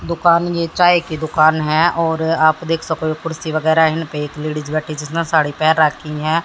दुकान ये चाय की दुकान है और आप देख सको ये कुर्सी वगैरा इन ये एक लेडिस बैठी जिसने साड़ी पहन रखी है।